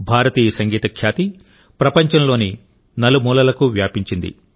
భారతీయ సంగీత ఖ్యాతి ప్రపంచంలోని నలుమూలలకు వ్యాపించింది